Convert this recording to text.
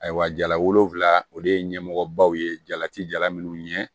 Ayiwa jalagofila o de ye ɲɛmɔgɔbaw ye jalati jala minnu ɲɛ